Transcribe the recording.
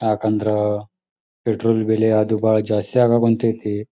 ಯಾಕಂದ್ರ ಪೆಟ್ರೋಲ್ ಬೆಲಿ ಅದು ಜಾಸ್ತಿ ಅಗಾಕುಂತೈತಿ --